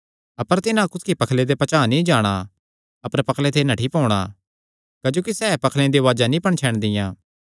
अपर तिन्हां कुसकी पखले दे पचांह़ नीं जाणा अपर पखले ते नठ्ठी पोणा क्जोकि सैह़ पखलेयां दी उआज़ा नीं पणछैणदियां